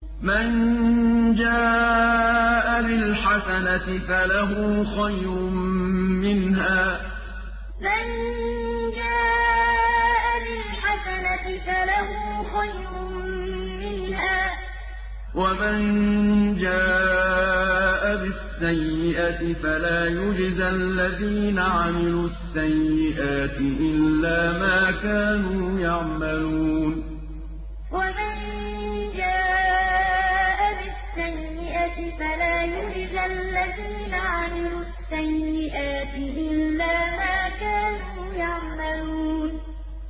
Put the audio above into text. مَن جَاءَ بِالْحَسَنَةِ فَلَهُ خَيْرٌ مِّنْهَا ۖ وَمَن جَاءَ بِالسَّيِّئَةِ فَلَا يُجْزَى الَّذِينَ عَمِلُوا السَّيِّئَاتِ إِلَّا مَا كَانُوا يَعْمَلُونَ مَن جَاءَ بِالْحَسَنَةِ فَلَهُ خَيْرٌ مِّنْهَا ۖ وَمَن جَاءَ بِالسَّيِّئَةِ فَلَا يُجْزَى الَّذِينَ عَمِلُوا السَّيِّئَاتِ إِلَّا مَا كَانُوا يَعْمَلُونَ